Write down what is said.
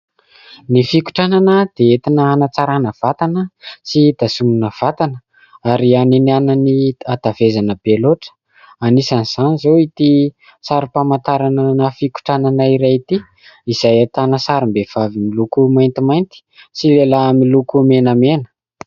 Ny fikotranana dia entina hanatsarana vatana sy fitazomana ny vatana ary hanenana hatavezana be loatra, anisan'izany izao ity sarim-pamantarana fikotranana iray ity, izay ahitana sarim-behivavy miloko maintimainty sy lehilahy miloko menamena.